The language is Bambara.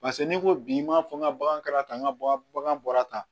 Paseke n'i ko bi n b'a fɔ n ka bagan kɛra tan n ka bagan bɔra tan